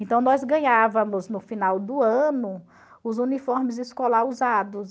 Então, nós ganhávamos, no final do ano, os uniformes escolar usados.